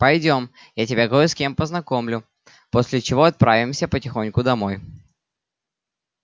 пойдём я тебя кое с кем познакомлю после чего отправимся потихоньку домой